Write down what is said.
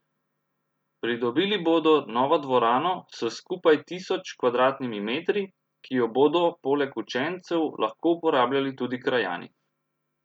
Pridobili bodo novo dvorano s skupaj tisoč kvadratnimi metri, ki jo bodo poleg učencev lahko uporabljali tudi krajani.